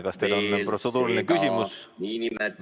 Kas teil on protseduuriline küsimus?